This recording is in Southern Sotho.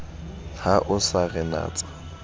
ha o sa re natsa